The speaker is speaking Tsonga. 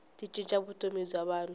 ti cinca vutomi bya vanhu